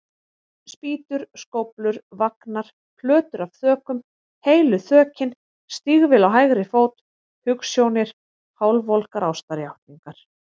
Spýtur, skóflur, vagnar, plötur af þökum, heilu þökin, stígvél á hægri fót, hugsjónir, hálfvolgar ástarjátningar.